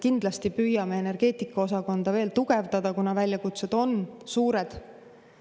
Kindlasti me püüame energeetikaosakonda veel tugevdada, kuna väljakutsed on suured.